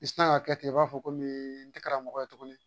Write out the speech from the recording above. I sina ka kɛ ten i b'a fɔ ko min tɛ karamɔgɔ ye tuguni